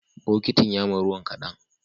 Bokitin yama ruwan kadan